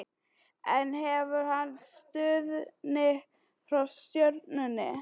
En hefur hann stuðning frá stjórninni?